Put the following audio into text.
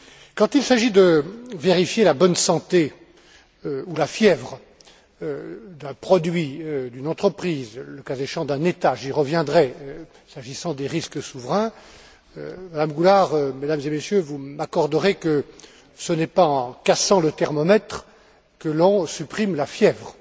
Quand il s'agit de vérifier la bonne santé ou la fièvre d'un produit, d'une entreprise, le cas échéant d'un État j'y reviendrai s'agissant des risques souverains, Madame Goulard, Mesdames et Messieurs, vous m'accorderez que ce n'est pas en cassant le thermomètre que l'on supprime la fièvre.